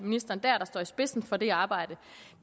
står i spidsen for det arbejde